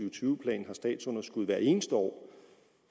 og tyve plan har statsunderskud hvert eneste år